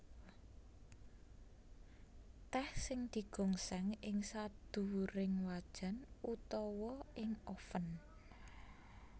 Tèh sing digongsèng ing sadhuwuring wajan utawa ing oven